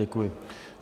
Děkuji.